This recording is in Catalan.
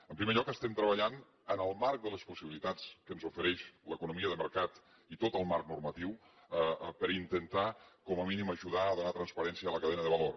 en primer lloc estem treballant en el marc de les possibilitats que ens ofereix l’economia de mercat i tot el marc normatiu per intentar com a mínim ajudar a donar transparència a la cadena de valor